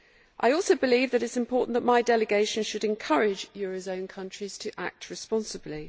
I also believe that it is important that my delegation encourage eurozone countries to act responsibly.